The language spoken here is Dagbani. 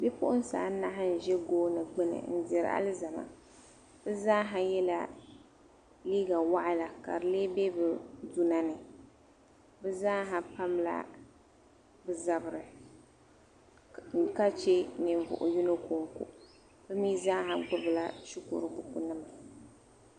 Bipuɣinsi anahi n-ʒi gooni gbini m-diri alizama. Bɛ zaaha yɛla liiga waɣila ka di lee be bɛ duna ni. Bɛ zaaha pamla bɛ zabiri ka che ninvuɣ' yino kɔŋko bɛ mi zaaha gbibila shikuru bukunima.